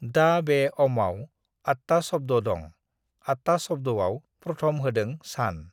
"दा बे अमआव uhh आटथा शब्द दं, आटथा शब्दआव प्रथम होदों -सान,"